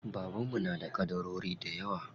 Baban mu na da ƙadarori dayawa.